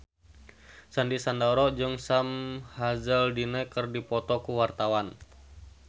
Sandy Sandoro jeung Sam Hazeldine keur dipoto ku wartawan